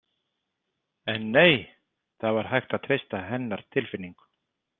En nei, það var hægt að treysta hennar tilfinningu.